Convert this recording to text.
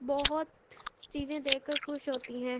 بھوت بہت چیزے دیکھکر خس ہوتی ہے۔